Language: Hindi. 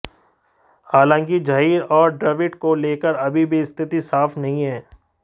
हालांकि जहीर और द्रविड़ को लेकर अभी भी स्थिति साफ नहीं है